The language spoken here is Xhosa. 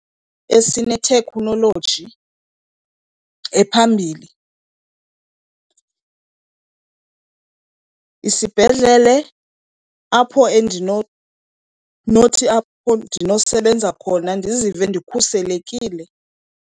Esine-technology ephambili isibhedlele, apho , apho endinosebenza khona ndizive ndikhuselekile.